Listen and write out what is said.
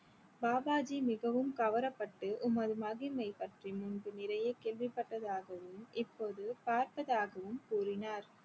பாபாஜி மிகவும் கவரப்பட்டு உமது மகிமை பற்றி முன்பு நிறைய கேள்வி பட்டதாகவும் இப்போது பார்ப்பதாகவும் கூறினார்